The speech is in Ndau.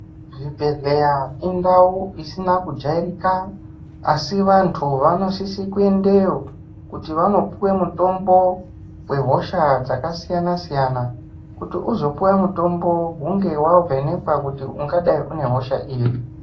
Zvibhehleya indau isina kujairika asi vantu vanosise kuendeyo kuti vanopuwe mutombo wehosha dzakasiyana siyana kuti uzopuwe mutombo hunge wazovhekekwa kutiungadai une hosha iri .